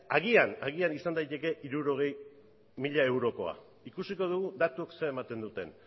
agian izan daiteke hirurogei mila eurokoa ikusiko dugu datuek zer ematen duten